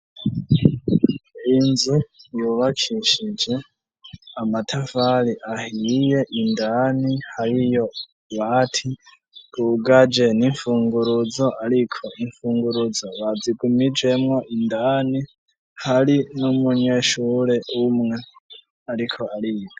Inzu yubakishije amatafari ahiye ,indani hariyo utubati twugaje n'infunguruzo ariko imfunguruzo bazigumijemwo indani hari n'umunyeshure umwe ariko ariga.